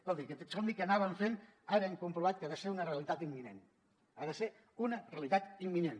escolti aquest somni que anàvem fent ara hem comprovat que ha de ser una realitat imminent ha de ser una realitat imminent